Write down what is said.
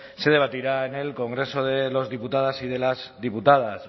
se debatirá en el congreso de los diputados y de las diputadas